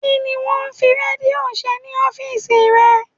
Kí ni wón ń fi Rédíò ṣe ní ọ́fíìsì rẹ?